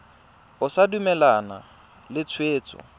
o sa dumalane le tshwetso